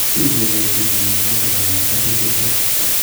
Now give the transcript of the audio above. Uui kenyorchi chii mnyondo noton nebo hepatic fibrosis